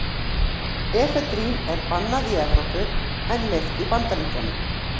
efedrín er bannað í evrópu en leyft í bandaríkjunum